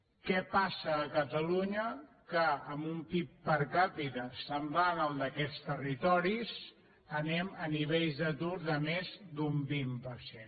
què passa a catalunya que amb un pib per capita semblant al d’aquests territoris anem a nivells d’atur de més d’un vint per cent